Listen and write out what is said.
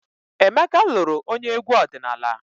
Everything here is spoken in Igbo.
Emeka lụrụ onye egwu ọdịnala.